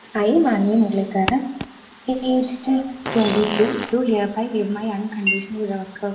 speaker 2 I Manvi Muraleedharan patient 22 to hereby is my unconditional ഇറെവർക്കർ